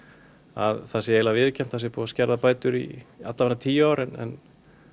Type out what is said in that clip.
að það sé eiginlega viðurkennt að það sé búið að skerða bætur í tíu ár en